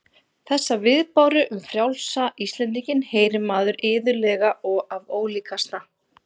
Þessa viðbáru um frjálsa Íslendinginn heyrir maður iðulega og af ólíkasta